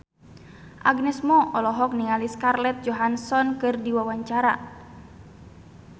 Agnes Mo olohok ningali Scarlett Johansson keur diwawancara